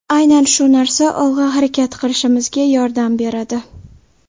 Aynan shu narsa olg‘a harakat qilishimga yordam beradi.